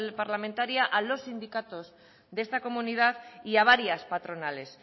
parlamentaria a los sindicatos de esta comunidad y a varias patronales